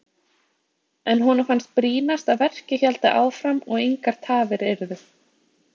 En honum fannst brýnast að verkið héldi áfram og engar tafir yrðu.